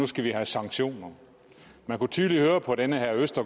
skal vi have sanktioner man kunne tydeligt høre på den her minister